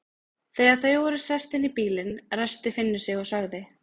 Þegar þau voru sest inn í bílinn, ræskti Finnur sig og sagði